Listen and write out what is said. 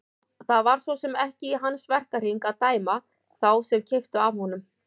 Það var svo sem ekki í hans verkahring að dæma þá sem keyptu af honum.